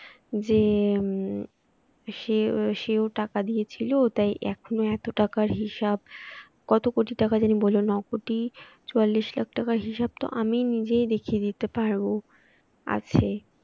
যে উম সেও টাকা দিয়েছিল তাই এখনো এত টাকার হিসাব কত কোটি টাকা জানি বলল নয় কোটি চুয়াল্লিশ লক্ষ টাকার হিসাব তো আমি নিজেই দেখিয়ে দিতে পারব আছে